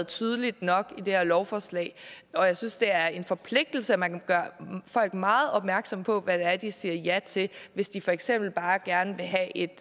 tydeligt nok i det her lovforslag og jeg synes det er en forpligtelse at man gør folk meget opmærksom på hvad det er de siger ja til hvis de for eksempel bare gerne vil have et